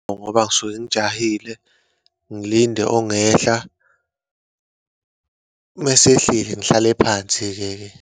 Ngoba ngisuke ngijahile, ngilinde ongehla. Uma esehlile ngihlale phansi-ke ke.